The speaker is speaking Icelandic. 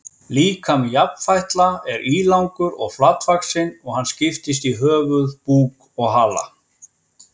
Líkami jafnfætla er ílangur og flatvaxinn og hann skiptist í höfuð, búk og hala.